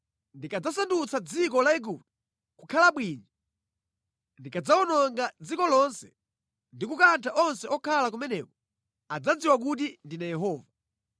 Ndikadzasandutsa dziko la Igupto kukhala bwinja; ndikadzawononga dziko lonse ndi kukantha onse okhala kumeneko, adzadziwa kuti ndine Yehova.’